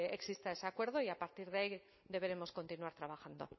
exista ese acuerdo y a partir de ahí deberemos continuar trabajando